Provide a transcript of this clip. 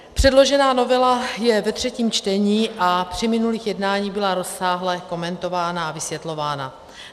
Předložená novela je ve třetím čtení a při minulých jednáních byla rozsáhle komentována a vysvětlována.